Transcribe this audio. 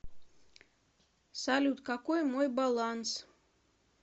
салют какой мой баланс